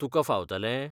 तुका फावतलें?